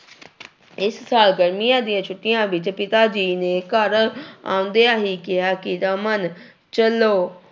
ਇਸ ਸਾਲ ਗਰਮੀਆਂ ਦੀਆਂ ਛੁੱਟੀਆਂ ਵਿੱਚ ਪਿਤਾ ਜੀ ਨੇ ਘਰ ਆਉਂਦਿਆਂ ਹੀ ਕਿਹਾ ਕਿ ਰਮਨ ਚੱਲੋ